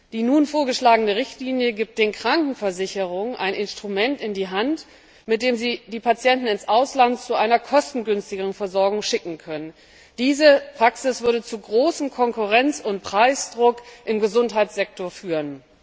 Die nun vorgeschlagene Richtlinie gibt den Krankenversicherungen ein Instrument in die Hand, mit dem sie die Patienten zu einer kostengünstigeren Versorgung ins Ausland schicken können. Diese Praxis würde zu großem Konkurrenz und Preisdruck im Gesundheitssektor führen.